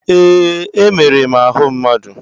Ee. Emere m ahụ mmadụ.